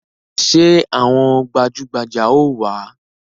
Ṣé àwọn gbajugbaja ó wá?